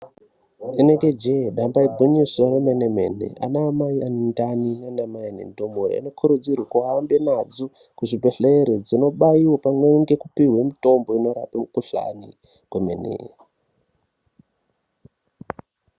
Rinenge jee, damba igwinyiso remene-mene. Ana mai ane ndani nanamai ane ndumure anokurudzirwa ahambe nadzo kuzvibhedhlere, dzinobaiwa, pamwe ngekupihwe mitombo inorape mikhuhlani kwemene.